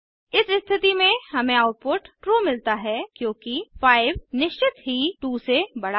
इस स्थिति में हमें आउटपुट ट्रू मिलता है क्योंकि 5 निश्चित ही 2 से बड़ा है